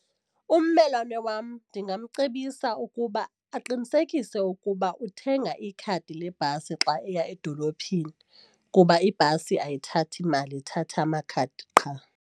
Ummelwane wam ndingamcebisa ukuba aqinisekise ukuba uthenga ikhadi lebhasi xa eya edolophini kuba ibhasi ayithathi mali ithatha amakhadi qha.